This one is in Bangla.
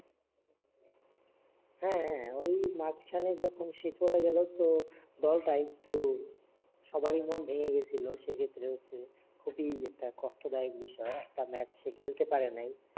হ্যাঁ হ্যাঁ ওই মাঝখানে তখন সে চলে গেলো তো দল টা একটু সবারই মন ভেঙ্গে গেছিলো সে ক্ষেত্রে হচ্ছে খুবি একটা কষ্ট দায়ক বিষয় কারণ একটা ম্যাচ সে খেলতে পারে নাই